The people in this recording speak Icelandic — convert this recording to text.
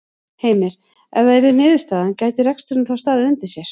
Heimir: Ef það yrði niðurstaðan gæti reksturinn þá staðið undir sér?